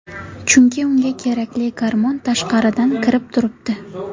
Chunki unga kerakli gormon tashqaridan kirib turibdi.